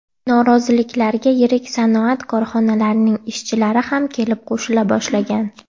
Noroziliklarga yirik sanoat korxonalarining ishchilari ham kelib qo‘shila boshlagan.